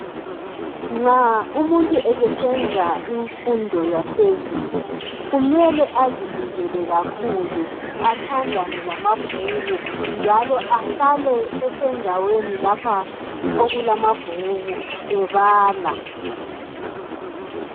Nxa umuntu eseswnza imfundo yaphezulu kumele azinikele kakhulu athandane lamabhuku njalo ahlale esendaweni lapha okulamabhuku ebala.